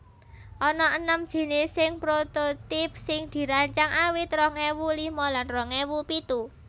Ana enem jinising prototype sing dirancang awit rong ewu lima lan rong ewu pitu